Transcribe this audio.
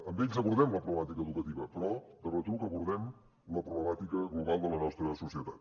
amb ells abordem la problemàtica educativa però de retruc abordem la problemàtica global de la nostra societat